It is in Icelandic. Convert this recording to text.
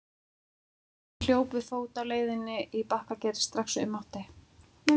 Ég hljóp við fót á leiðinni í Bakkagerði strax og ég mátti.